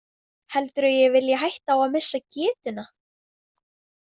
Heldurðu að ég vilji hætta á að missa getuna?